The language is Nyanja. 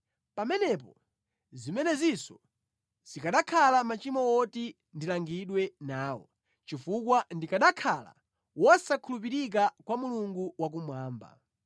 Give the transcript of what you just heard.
pamenepo zimenezinso zikanakhala machimo oti ndilangidwe nawo, chifukwa ndikanakhala wosakhulupirika kwa Mulungu wakumwamba.